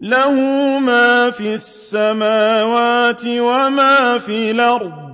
لَهُ مَا فِي السَّمَاوَاتِ وَمَا فِي الْأَرْضِ ۖ